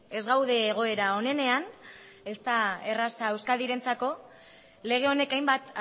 ez gaude egoera onenean ez da erraza euskadirentzako lege honek hainbat